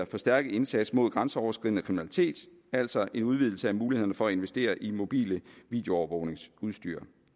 forstærket indsats mod grænseoverskridende kriminalitet altså en udvidelse af mulighederne for at investere i mobilt videoovervågningsudstyr